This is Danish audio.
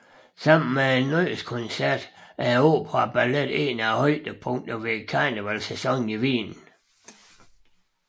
Sammen med Nytårskoncerten er operaballet en af højdepunkterne i karnevalssæsonen i Wien